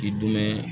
K'i dumɛn